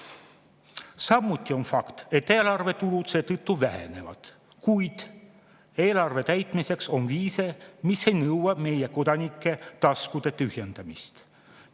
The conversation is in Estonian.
Samuti on fakt, et eelarve tulud selle vähenevad, kuid eelarve täitmiseks on viise, mis ei nõua meie kodanike taskute tühjendamist.